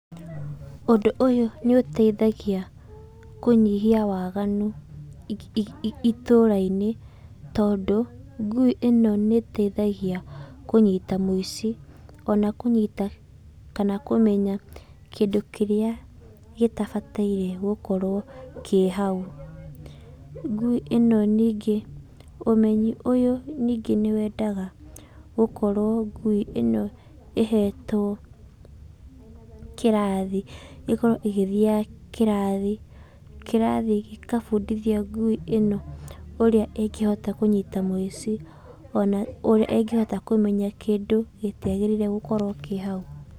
Ũndũ ũyũ nĩũteithagia kũnyihia waganu itũra-inĩ, tondũ ngũi ĩno nĩteithagia kũnyita mũici ona kũnyita, kana kũmenya kĩndũ kĩrĩa gĩtabataire gũkorwo kĩ hau. Nguĩ ĩno ningĩ, ũmenyi ũyũ ningĩ nĩwendaga gũkorwo ngui ĩno ĩhetwo kĩrathi. Ikorwo ĩgĩthiaga kĩrathi. Kĩrathi gĩkabũndithio ngui ĩno ũrĩa ĩngĩhota kũnyita mũici, ona ũrĩa ĩngĩhota kũmenya kĩndũ gĩtiagĩrĩire gũkorwo kĩ hau.